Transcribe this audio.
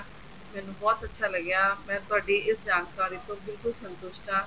ਮੈਨੂੰ ਬਹੁਤ ਅੱਛਾ ਲੱਗਿਆ ਮੈਂ ਤੁਹਾਡੀ ਇਸ ਜਾਣਕਾਰੀ ਤੋਂ ਬਿਲਕੁੱਲ ਸੰਤੁਸ਼ਟ ਹਾਂ